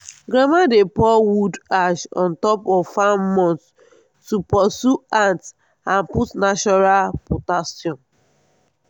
grandma dey pour wood ash on top of farm mounds to pursue ant and put natural potassium.